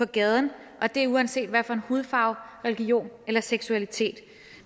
gaden og det uanset hvad for en hudfarve religion eller seksualitet